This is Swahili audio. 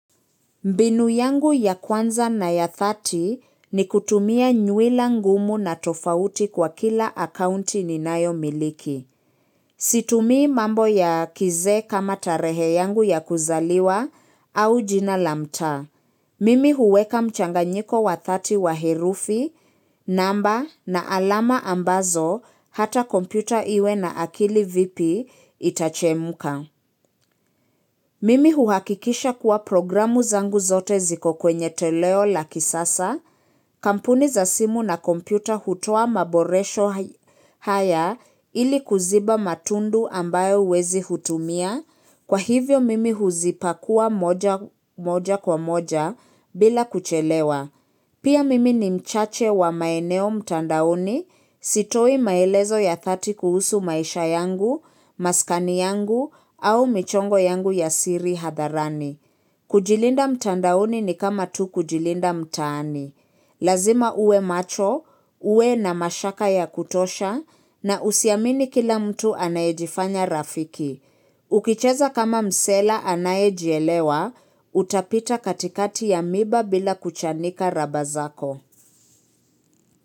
Mbinu yangu ya kwanza na ya thirty ni kutumia nyuila ngumu na tofauti kwa kila akaunti ninayomiliki. Situmii mambo ya kizee kama tarehe yangu ya kuzaliwa au jina la mtaa. Mimi huweka mchanganyiko wa thirty wa herufi, namba na alama ambazo hata kompyuta iwe na akili vipi itachemuka. Mimi huhakikisha kuwa programu zangu zote ziko kwenye toleo la kisasa, kampuni za simu na kompyuta hutua maboresho haya ili kuziba matundu ambayo wezi tumia, kwa hivyo mimi huzipakua moja kwa moja bila kuchelewa. Pia mimi ni mchache wa maeneo mtandaoni sitoi maelezo ya thati kuhusu maisha yangu, maskani yangu au michongo yangu ya siri hadharani. Kujilinda mtandaoni ni kama tu kujilinda mtaani. Lazima uwe macho, uwe na mashaka ya kutosha na usiamini kila mtu anaejifanya rafiki. Ukicheza kama msela anayejielewa, utapita katikati ya miba bila kuchanika raba zako.